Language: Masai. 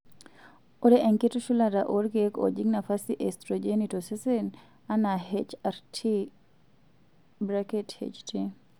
ore enkitushulata oolkeek oojing' nafasi e estrojeni tosesen anaa HRT/HT.